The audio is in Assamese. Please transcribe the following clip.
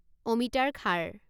অমিতাৰ খাৰ